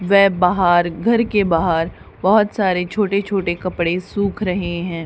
वे बाहर घर के बाहर बहोत सारे छोटे छोटे कपड़े सुख रहे है।